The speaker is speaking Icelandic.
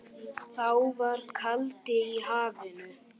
Þá var kaldi í hafinu.